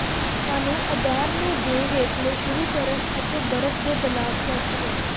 ਸਾਨੂੰ ਅਧਾਰ ਨੂੰ ਦੇ ਹੇਠਲੇ ਸ਼ੁਰੂ ਕਰਨ ਅਤੇ ਬਰਫ਼ ਦੇ ਬਲਾਕ ਪੇਸਟ ਕਰੋ